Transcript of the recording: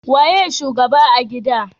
Waye shugaba a gida